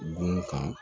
Bon kan